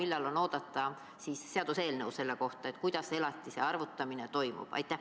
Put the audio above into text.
Millal on oodata seaduseelnõu selle kohta, kuidas elatise arvutamine toimub?